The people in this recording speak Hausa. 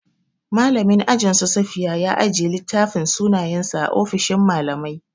Mallamin ajin su safiya ya ajiye littafin sunayensu a ofishin mallamai.